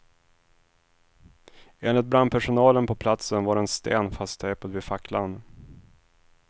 Enligt brandpersonalen på platsen var en sten fasttejpad vid facklan.